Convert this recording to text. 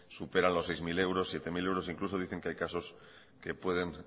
superan los seis mil euros siete mil euros incluso dicen que hay casos que pueden